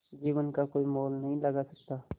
जीवन का कोई मोल नहीं लगा सकता